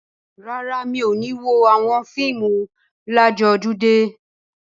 Rárá, mi ò ní wo àwọn fíìmù ládojúdé.